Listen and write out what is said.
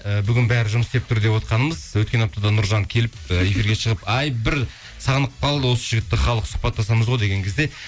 і бүгін бәрі жұмыс істеп тұр деп отырғанымыз өткен аптада нұржан келіп і эфирге шығып ай бір сағынып қалды осы жігітті халық сұхбаттасамыз ғой деген кезде